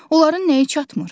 Onların nəyi çatmır?